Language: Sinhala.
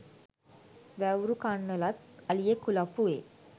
වැව්රුකන්නලත් අලියෙක් කුලප්පු වේ